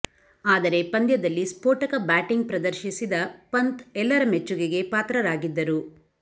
ಆದರೆ ಪಂದ್ಯದಲ್ಲಿ ಸ್ಫೋಟಕ ಬ್ಯಾಟಿಂಗ್ ಪ್ರದರ್ಶಿಸಿದ ಪಂತ್ ಎಲ್ಲರ ಮೆಚ್ಚುಗೆಗೆ ಪಾತ್ರರಾಗಿದ್ದರು